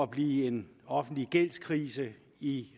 blive en offentlig gældskrise i